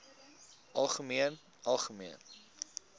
algemeen algemeen